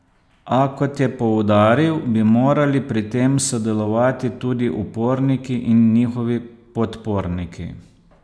A, kot je poudaril, bi morali pri tem sodelovati tudi uporniki in njihovi podporniki.